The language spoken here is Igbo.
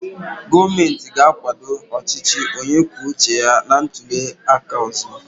Gọọmentị ga-akwado ọchịchị onye kwuo uche ya na ntuli aka ọzọ.